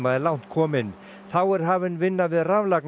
er langt komin þá er hafin vinna við